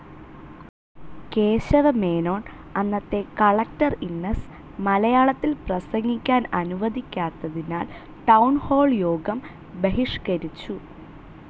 കേശവമേനോൻ, അന്നത്തെ collector Innes മലയാളത്തിൽ പ്രസംഗിക്കാൻ അനുവദിക്കാത്തതിനാൽ ടൌൺ ഹാൾ യോഗം ബഹിഷ്കരിച്ചു.